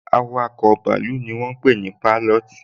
Awakọ̀ bàálù ni wọ́n ń pé ní Pailọọti